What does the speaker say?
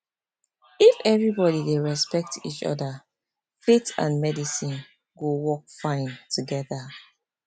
if everybody dey respect each other faith and medicine go work fine together